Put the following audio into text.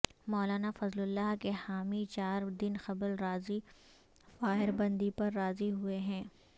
مولانا Fazlullah کے حامی چار دن قبل عارضی فائر بندی پر راضی ہوئے ہیں